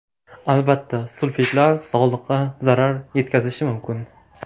Albatta, sulfitlar sog‘liqqa zarar yetkazishi mumkin.